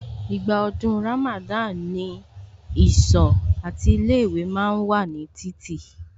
Ìgbà ọdún Ramada ni ìsọ̀ àti ilé ìwé ma ń wà ní títì